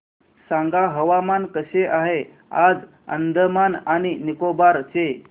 सांगा हवामान कसे आहे आज अंदमान आणि निकोबार चे